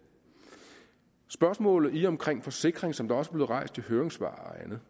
i spørgsmålet omkring forsikring som også rejst i høringssvarene